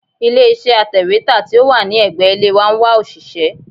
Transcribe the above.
Ilé iṣẹ́ atẹ̀wétà tí ó wà ní ẹ̀gbẹ́ ilé wa ń wá òṣìṣẹ́.